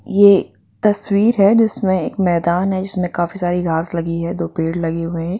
ये तस्वीर है जिसमें एक मैदान है जिसमें काफी सारी घास लगी हैदो पेड़ लगे हुए--